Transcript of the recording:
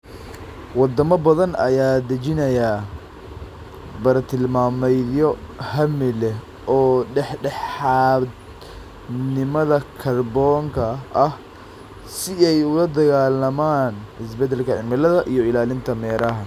Wadamo badan ayaa dejinaya bartilmaameedyo hami leh oo dhexdhexaadnimada kaarboonka ah si ay ula dagaallamaan isbeddelka cimilada iyo ilaalinta meeraha.